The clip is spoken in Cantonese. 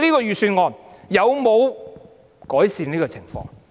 預算案有否改善這種情況？